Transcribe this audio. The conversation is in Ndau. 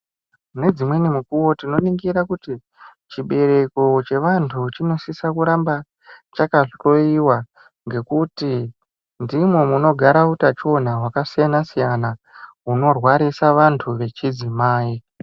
Nedzimweni mukuwo tinoni gira kuti chibereko chevantu chinosisa kuramba chakahloiwa nekuti ndimwo munogara utachiwana hwakasiyana siyana hunorwarisa vantu vechidzimai.